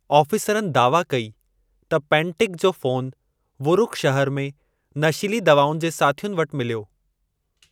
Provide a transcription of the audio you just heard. आफ़ीसरनि दावा कई त पैंटिक जो फोन वुरुक शहर में 'नशीली दवाउनि जे साथियुनि' वटि मिलियो।